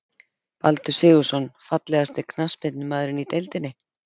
Baldur Sigurðsson Fallegasti knattspyrnumaðurinn í deildinni?